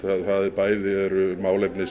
bæði eru málefni